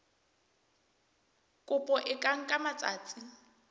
kopo e ka nka matsatsi